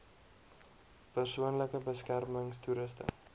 persoonlike beskermings toerusting